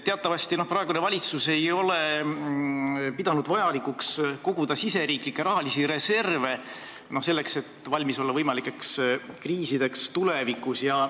Teatavasti ei ole praegune valitsus pidanud vajalikuks koguda riigisiseseid rahalisi reserve selleks, et olla valmis võimalikeks kriisideks tulevikus.